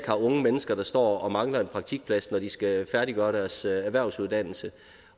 har unge mennesker der står og mangler en praktikplads når de skal færdiggøre deres erhvervsuddannelse